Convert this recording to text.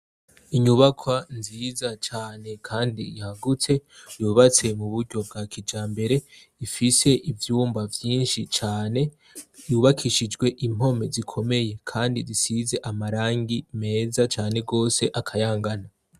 Inyubakwa nziza cane kandi yagutse yubatswe mu buryo bwa kijambere ifise ivyumba vyinshi cane yubakishijwe impome zikomeye kandi zisize amarangi meza cane gose akayangana.